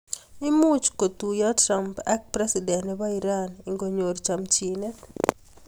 Imuchii kotuiyoo trump ak president nepoo Iran ngonyoor chamchineet